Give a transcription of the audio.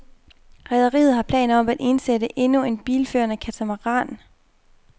Rederiet har planer om at indsætte endnu en bilførende katamaran.